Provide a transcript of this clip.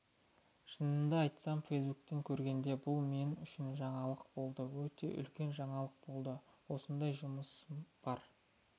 шынымды айтсам фейсбуктен көргенде бұл мен үшін жаңалық болды өте үлкен жаңалық болды осындай жұмысы бар